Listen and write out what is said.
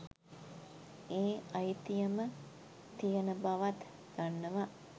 ඒ අයිතියම තියන බවත් දන්නව.